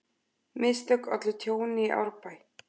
Mistök ollu tjóni í Árbæ